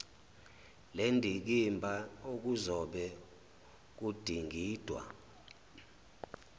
lendikimba okuzobe kudingidwa